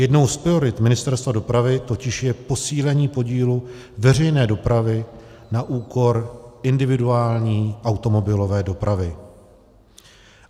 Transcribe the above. Jednou z priorit Ministerstva dopravy totiž je posílení podílu veřejné dopravy na úkor individuální automobilové dopravy.